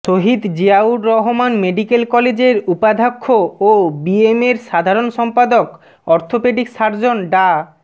শহীদ Ziaur Rahman medical কলেজের উপাধ্যক্ষ ও বিএমএর সাধারণ সম্পাদক অর্থোপেডিক সার্জন ডা